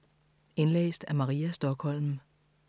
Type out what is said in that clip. Indlæst af: